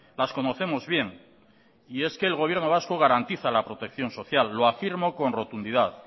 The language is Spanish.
las conocemos bien y es que el gobierno vasco garantiza la protección social lo afirmo con rotundidad